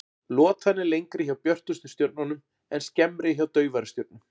Lotan er lengri hjá björtustu stjörnunum en skemmri hjá daufari stjörnum.